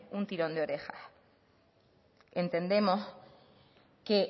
un tirón de orejas entendemos que